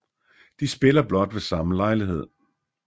De spiller blot ved samme lejlighed